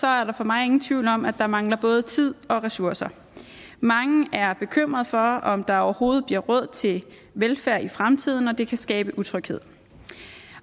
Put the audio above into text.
er der for mig ingen tvivl om at der mangler både tid og ressourcer mange er bekymrede for om der overhovedet bliver råd til velfærd i fremtiden og det kan skabe utryghed